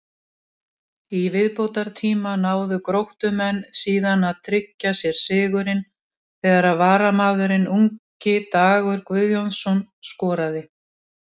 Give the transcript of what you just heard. Í viðbótartíma náðu Gróttumenn síðan að tryggja sér sigurinn þegar varamaðurinn ungi Dagur Guðjónsson skoraði.